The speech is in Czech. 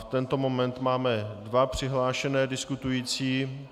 V tento moment máme dva přihlášené diskutující.